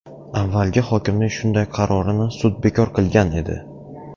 Avvalgi hokimning shunday qarorini sud bekor qilgan edi.